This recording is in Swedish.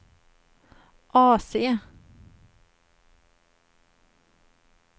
AC